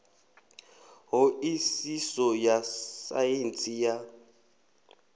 ṱho ḓisiso ya saintsi ya